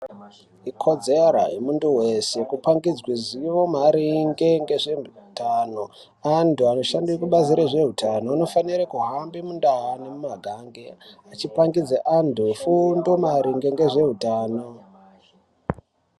Ikodzero yemuntu weshe kupangidzwe zivo maringe ngezveutano. Antu anoshanda kubazi rezveutano vanofanira kuhamba kundau nemumaganga vachipangidze antu fundo maringe ngezveutano.